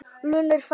Lúna er fædd.